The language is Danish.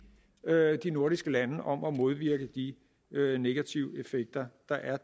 de nordiske lande om at modvirke de negative effekter der er